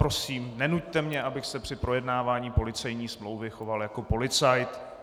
Prosím, nenuťte mě, abych se při projednávání policejní smlouvy choval jako policajt.